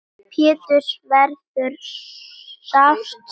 Péturs verður sárt saknað.